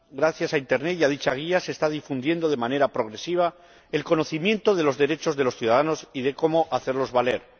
gracias a Internet y a dicha guía se está difundiendo de manera progresiva el conocimiento de los derechos de los ciudadanos y de cómo hacerlos valer